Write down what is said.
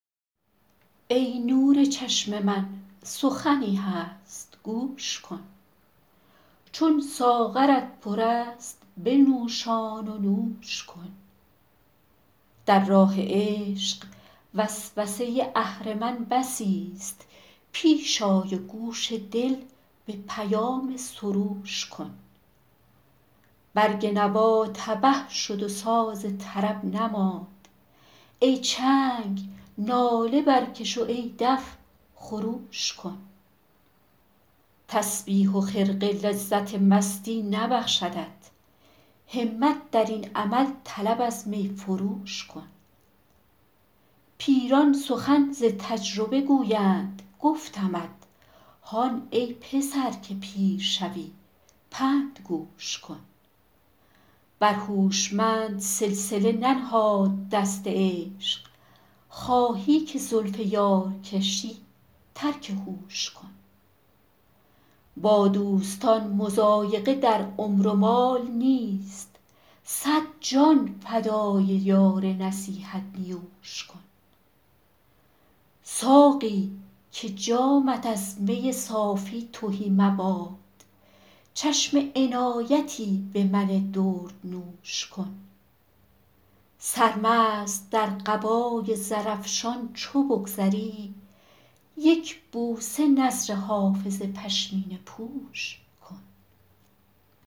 ای نور چشم من سخنی هست گوش کن چون ساغرت پر است بنوشان و نوش کن در راه عشق وسوسه اهرمن بسیست پیش آی و گوش دل به پیام سروش کن برگ نوا تبه شد و ساز طرب نماند ای چنگ ناله برکش و ای دف خروش کن تسبیح و خرقه لذت مستی نبخشدت همت در این عمل طلب از می فروش کن پیران سخن ز تجربه گویند گفتمت هان ای پسر که پیر شوی پند گوش کن بر هوشمند سلسله ننهاد دست عشق خواهی که زلف یار کشی ترک هوش کن با دوستان مضایقه در عمر و مال نیست صد جان فدای یار نصیحت نیوش کن ساقی که جامت از می صافی تهی مباد چشم عنایتی به من دردنوش کن سرمست در قبای زرافشان چو بگذری یک بوسه نذر حافظ پشمینه پوش کن